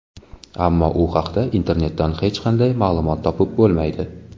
Ammo u haqda internetdan hech qanday ma’lumot topib bo‘lmaydi.